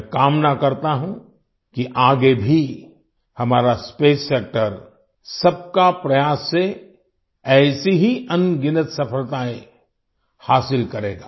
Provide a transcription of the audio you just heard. मैं कामना करता हूँ कि आगे भी हमारा स्पेस सेक्टर सबका प्रयास से ऐसे ही अनगिनत सफलताएँ हासिल करेगा